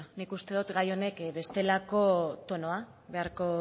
bueno nik uste dut bestelako tonua beharko